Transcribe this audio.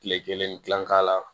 Tile kelen ni dilan k'a la